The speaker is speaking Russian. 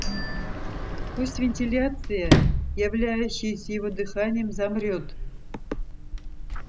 пусть вентиляция являющаяся его дыханием замрёт